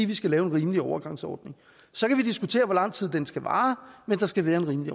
vi skal lave en rimelig overgangsordning så kan vi diskutere hvor lang tid den skal vare men der skal være en rimelig